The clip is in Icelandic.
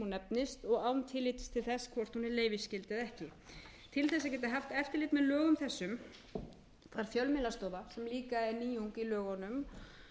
nefnist og án tillits til þess hvort hún er leyfisskyld eða ekki til þess að geta haft eftirlit með lögum þessum að fjölmiðlastofa sem líka er nýjung í lögunum